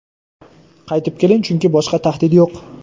Qaytib keling, chunki boshqa tahdid yo‘q.